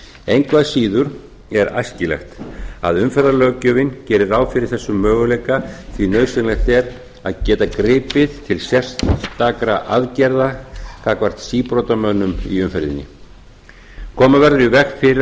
engu að síður er æskilegt að umferðarlöggjöfin geri ráð fyrir þessum möguleika því nauðsynlegt er að geta gripið til sérstakra aðgerða gagnvart síbrotamönnum í umferðinni koma verður